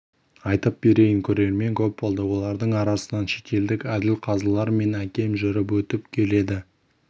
айтып берейін көрермен көп болды олардың арасынан шетелдік әділ қазылар мен әкем жүріп өтіп келеді